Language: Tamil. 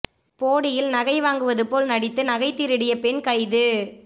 போடியில் நகை வாங்குவது போல் நடித்து நகை திருடிய பெண் கைது